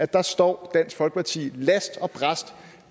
der står dansk folkeparti last og brast